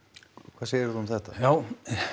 hvað segir þú um þetta já